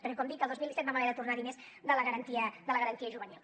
perquè com dic el dos mil disset vam haver de tornar diners de la garantia juvenil